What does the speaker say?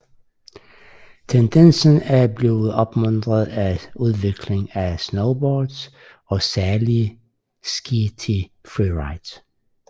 Tendensen er blevet opmuntret af udviklingen af snowboards og særlige ski til freeride